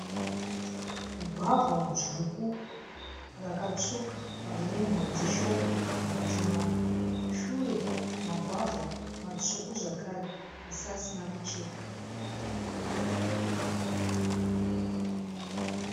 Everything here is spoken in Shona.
Gwavha dzvuku rakatsvuka rine mhodzi shoma mukati maro. Shure magwavha matsvuku zvakare asi asina kuchekwa.